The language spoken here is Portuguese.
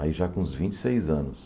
Aí já com uns vinte e seis anos.